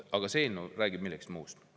Aga see eelnõu räägib millestki muust.